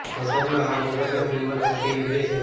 massage આ બાબતમાં team work સાથે યોગ્ય છે